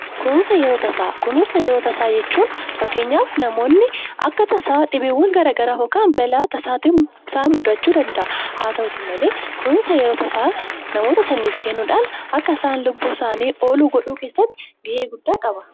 Kunuunsa yeroo tasaa: Kunuunsa yeroo tasaa jechuun fakkeenyaaf namoonni akka tasaa dhibeewwan garaa garaa yookaan balaa tasaatiin isaan mudachuu danda'aa. Haa ta'uuti malee kunuunsa yeroo tasaa namoota saniif kennuudhaan akka isaan lubbuu saanii oolu godhuu keessatti ga'ee guddaa qaba.